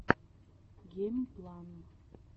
геймплан